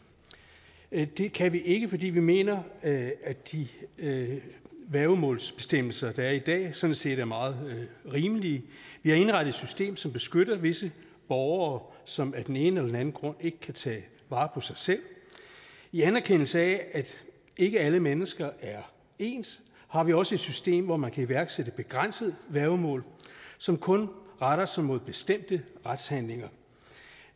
jeg at det kan vi ikke fordi vi mener at at de værgemålsbestemmelser der er i dag sådan set er meget rimelige vi har indrettet et system som beskytter visse borgere som af den ene eller den anden grund ikke kan tage vare på sig selv i anerkendelse af at ikke alle mennesker er ens har vi også et system hvor man kan iværksætte begrænset værgemål som kun retter sig mod bestemte retshandlinger